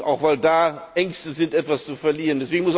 Auch, weil da Ängste sind, etwas zu verlieren.